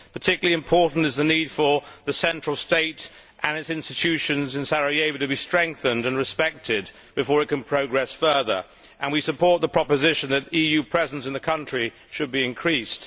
Particularly important is the need for the central state and its institutions in Sarajevo to be strengthened and respected before it can progress further, and we support the proposition that EU presence in the country should be increased.